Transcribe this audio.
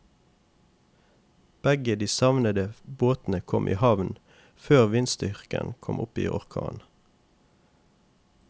Begge de savnede båtene kom i havn før vindstyrken kom opp i orkan.